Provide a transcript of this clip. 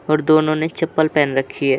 और दोनो ने चप्पल पहन रखी है।